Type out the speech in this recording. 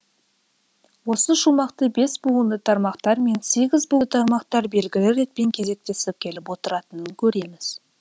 осы шумақты бес буынды тармақтар мен сегіз буынды тармақтар белгілі ретпен кезектесіп келіп отыратынын көреміз